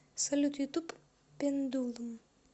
салют ютуб пендулум